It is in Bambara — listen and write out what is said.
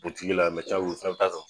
Butigi la o fɛnɛ bɛ taa san.